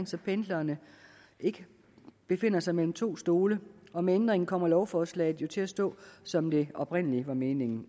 så pendlerne ikke befinder sig mellem to stole og med ændringen kommer lovforslaget jo til at stå som det oprindelig var meningen